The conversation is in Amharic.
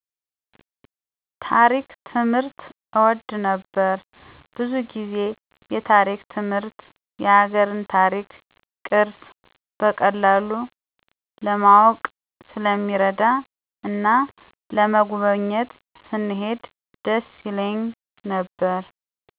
ታሪክ ትምህርት እወድ ነበር። ብዙ ጊዜ የታሪክ ትምህርት የሀገርን ታሪክ፣ ቅርስ በቀላሉ ለማወቅ ስለሚረዳ እና ለመጎብኜት ስንሄድ ደስ ይለኝ ነበር።